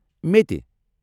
میٚتہِ۔